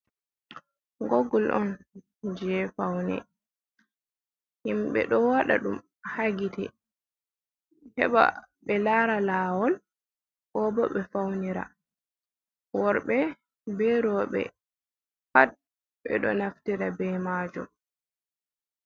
Gogul on je faune himɓe ɗo waɗa ɗum hagite heɓa be lara lawol, kobo ɓe faunira worɓe be roɓe pat ɓe ɗo naftira ɓe majum.